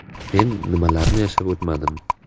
Men nimalarni yashab o‘tmadim.